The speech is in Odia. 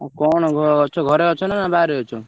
ଆଉ କଣ ଅଛ ଘରେ ଅଛ ନା ବାହାରେ ଅଛ?